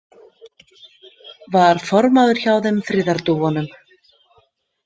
Var formaður hjá þeim friðardúfunum.